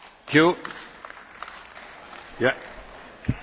Herr Präsident, das war keine Frage, das war eine Stellungnahme.